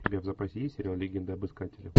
у тебя в запасе есть сериал легенда об искателе